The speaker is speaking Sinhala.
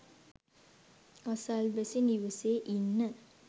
අසල්වැසි නිවසේ ඉන්න